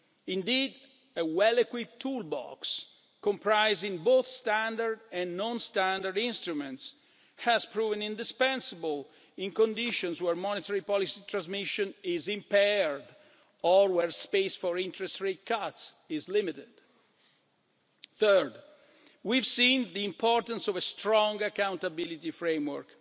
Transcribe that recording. Indeed, a well-equipped toolbox, comprising both standard and non-standard instruments, has proven indispensable in conditions where monetary policy transmission is impaired or where space for interest rate cuts is limited. Third, we have seen the importance of a strong accountability framework,